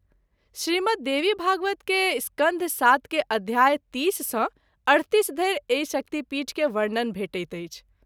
श्रीमद्ददेवीभागवत के स्कंध सात के अध्याय 30 सँ 38 धरि एहि शक्तिपीठ के वर्णन भेटैत अछि।